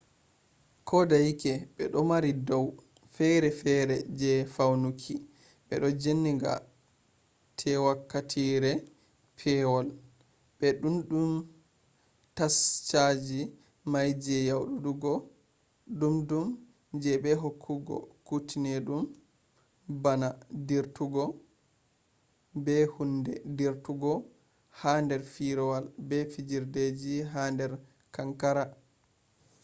kodeyake be du mari dau’e fere fere je faunuki be jenanga te wakkatire pewol be dumdum tashaji mai je nyauduki dumdum je be hokkugo kutenedum bana dirtugo be hunde dirtugo ha der firawol be fijirdeji ha der kankara